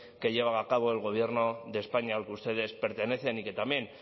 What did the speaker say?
que lleva acabo el gobierno de españa al que ustedes pertenecen y que también